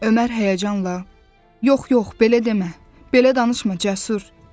Ömər həyəcanla yox, yox, belə demə, belə danışma Cəsur!